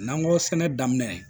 N'an ko sɛnɛ daminɛ